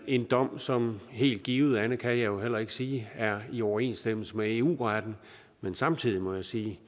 en dom som helt givet andet kan jeg jo heller ikke sige er i overensstemmelse med eu retten men samtidig må jeg sige